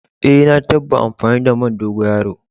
Eh, na tabba amfani da man dogoyaro.